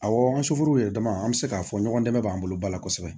Awɔ yɛrɛ dama an bɛ se k'a fɔ ɲɔgɔn dɛmɛ b'an bolo ba la kosɛbɛ